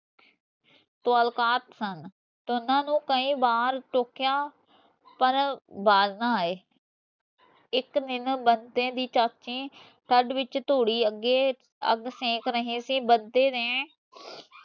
ਸਨ ਦੋਨਾਂ ਨੂੰ ਕਈ ਬਾਰ ਟੋਕਿਆ ਪਰ ਬਾਜ ਨਾ ਆਏ ਇਕ ਦਿਨ ਬਤੇ ਦੀ ਚਾਚੀ shed ਵਿੱਚ ਤੁੜੀ ਅਗੇ ਅਗ ਫੇੰਕ ਰਹੀ ਸੀ ਬਤੇ ਨੇ